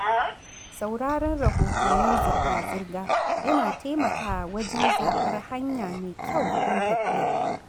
Sauraron rahotannin zirga-zirga yana taimakawa wajen zaɓar hanya mai kyau don tafiya.